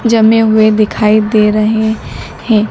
जमे हुए दिखाई दे रहे हैं।